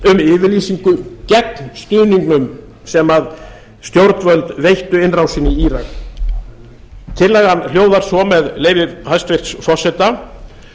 um yfirlýsingu gegn stuðningnum sem stjórnvöld veittu innrásinni í írak tillagan hljóðar svo með leyfi hæstvirts forseta